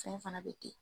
Fɛn fana bɛ ten